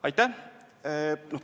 Aitäh!